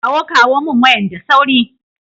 kawo kawo min wayan da sauri.